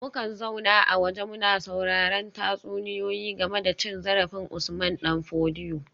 Mukan zauna a waje muna sauraren tatsuniyoyi game da cin zarafin Usman dan Fodio